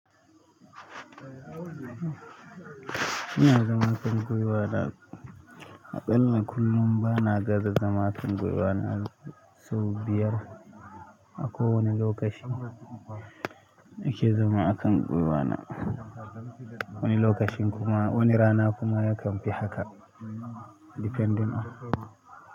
Ina zama kan gwiwana, aƙalla kullum bana gaza zama kan gwiwana sau biyar. Akowani lokaci nike zama a kan gwiwana, wani lokacin kuma wani rana kuma yakan fi haka depending on.